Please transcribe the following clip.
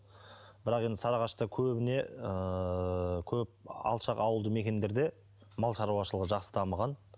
бірақ енді сарыағашта көбіне ыыы көп алшақ ауылды мекендерде мал шаруашылығы жақсы дамыған